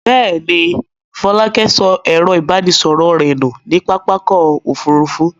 Bẹ́ẹ̀ ni, Fọlákẹ́ sọ ẹ̀rọ-ìbánisọ̀rọ̀ rẹ̀ nù ní pápá ọkọ̀-òfurufú.